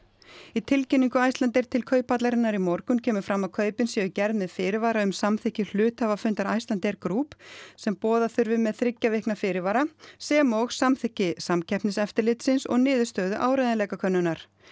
í tilkynningu Icelandair til Kauphallarinnar í morgun kemur fram að kaupin séu gerð með fyrirvara um samþykki hluthafafundar Icelandair Group sem boða þurfi með þriggja vikna fyrirvara sem og samþykki Samkeppniseftirlitsins og niðurstöðu áreiðanleikakönnunar